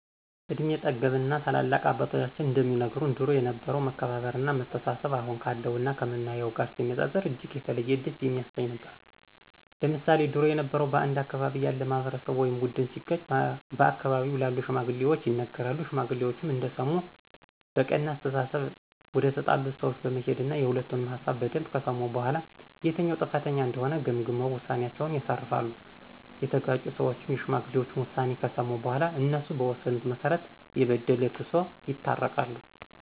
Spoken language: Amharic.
እድሜ ጠገብ እና ታላላቅ አባቶቻችን እንደሚነግሩን ድሮ የነበረው መከባበር እና መተሳሰብ አሁን ካለው እና ከምናየው ጋር ሲነጻጸር እጅግ የተለየ ደስ የሚያሰኝ ነበር። ለምሳሌ ድሮ የበረው በአንድ አካባቢ ያለ ማህበረሰብ ወይም ቡድን ሲጋጭ በአካባቢው ላሉ ሽማግሌዎች ይነገራሉ ሽማግሌዎችም እንደሰሙ በቀና አስተሳሰብ ወደተጣሉት ሰወች በመሄድና የሁለቱንም ሀሳብ በደንብ ከሰሙ በኋላ የትኛው ጥፋተኛ እንደሆነ ገምግመው ውሳኔአቸውን ያሳርፋሉ፤ የተጋጩት ሰዎችም የሽማግሌዎችን ውሳኔ ከሰሙ በኋላ እነሱ በወሰኑት መሰረት የበደለ ክሶ ይታረቃሉ።